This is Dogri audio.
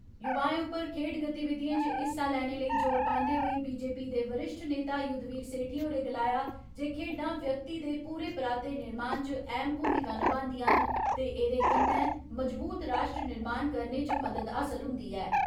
युवाएं उप्पर खेड गतिविधिएं इच हिस्सा लैने लेई ज़ोर पांदे होर्ट बीजेपी दे वरिष्ठ नेता युद्धवीर सेठी होरें गलाया जे खेड्डां व्यक्ति दे पूरे पराते निर्माण इच अहम भूमिका निभांदियां न ते दे कन्नै मजबूत राश्ट्र निर्माण करने इच मदद हासिल हुंदी ऐ।